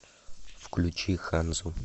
включи ханзу